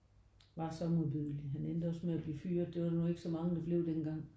Var så modbydelig. Han endte også med at blive fyret det var nu ikke så mange der blev dengang